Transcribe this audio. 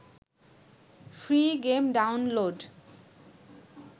free game download